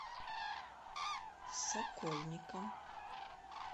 сокольникам